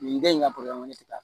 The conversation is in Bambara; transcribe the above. Nin kɛ in ka ne tɛ taa